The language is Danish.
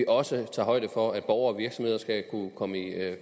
vi også tager højde for at borgere og virksomheder skal kunne komme i